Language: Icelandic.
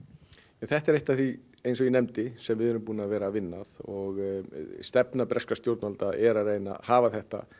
þetta er eitt af því eins og ég nefndi sem við erum búin að vera að vinna að og stefna breskra stjórnvalda er að reyna að hafa þetta